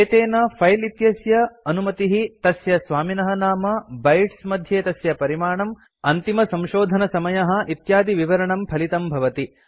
एतेन फिले इत्यस्य अनुमतिः तस्य स्वामिनः नाम बाइट्स् मध्ये तस्य परिमाणम् अन्तिमसंशोधनसमयः इत्यादिविवरणं फलितं भवति